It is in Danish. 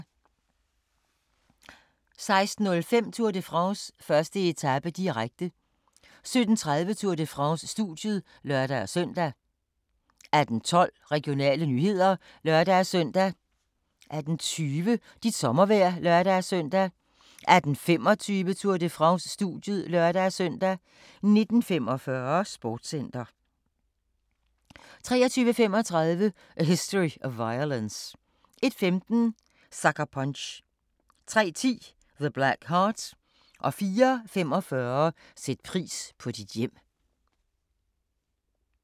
16:05: Tour de France: 1. etape, direkte 17:30: Tour de France: Studiet (lør-søn) 18:12: Regionale nyheder (lør-søn) 18:20: Dit sommervejr (lør-søn) 18:25: Tour de France: Studiet (lør-søn) 19:45: Sportscenter 23:35: A History of Violence 01:15: Sucker Punch 03:10: The Black Heart 04:45: Sæt pris på dit hjem